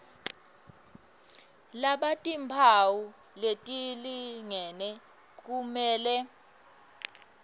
labatimphawu letilingene kumele